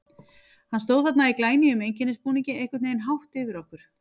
Hann stóð þarna í glænýjum einkennisbúningi, einhvern veginn hátt yfir okkur.